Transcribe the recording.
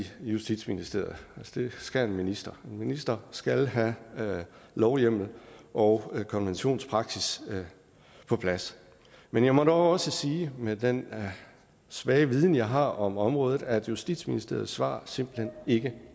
justitsministeriet det skal en minister en minister skal have lovhjemmel og konventionspraksis på plads men jeg må dog også sige med den svage viden jeg har om området at justitsministeriets svar simpelt hen ikke